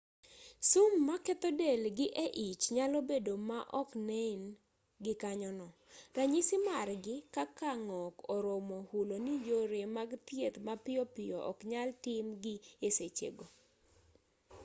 sum maketho del gi e ich nyalo bedo ma oknen gikanyono ranyisi margi kaka ng'ok oromo hulo ni yore mag thieth mapiyo piyo oknyal tim gi e sechego